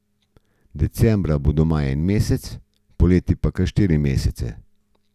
Decembra bo doma en mesec, poleti kar štiri mesece.